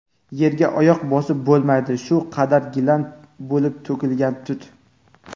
yerga oyoq bosib bo‘lmaydi shu qadar gilam bo‘lib to‘kilgan tut.